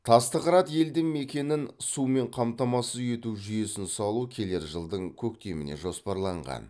тасты қырат елді мекенін сумен қамтамасыз ету жүйесін салу келер жылдың көктеміне жоспарланған